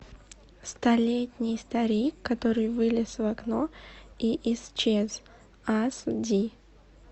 столетний старик который вылез в окно и исчез ас ди